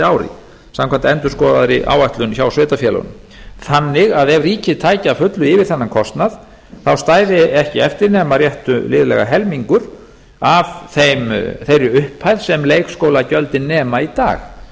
ári samkvæmt endurskoðaðri áætlun hjá sveitarfélögunum ef ríkið tæki að fullu yfir þennan kostnað stæði ekki eftir nema rétt liðlega helmingur af þeirri upphæð sem leikskólagjöld nema í dag